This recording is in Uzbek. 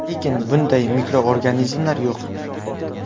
Lekin, bunday mikroorganizmlar yo‘q.